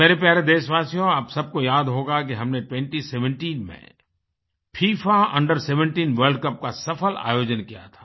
मेरे प्यारे देशवासियो आप सब को याद होगा कि हमने 2017 में फिफा Under17 वर्ल्ड कप का सफल आयोजन किया था